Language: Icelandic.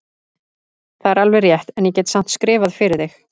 Það er alveg rétt, en ég get samt skrifað fyrir þig.